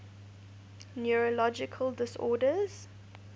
neurological disorders